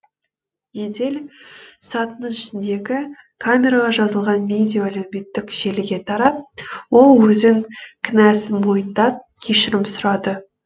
жедел сатының ішіндегі камераға жазылған видео әлеуметтік желіге тарап ол өзін кінәсін мойындап кешірім сұрады